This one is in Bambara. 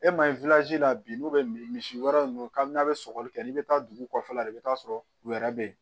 E ma ye la bi n'u bɛ misi wɛrɛ ninnu ka n'a bɛ sɔgɔli kɛ i bɛ taa dugu kɔfɛla de bɛ taa sɔrɔ u yɛrɛ bɛ yen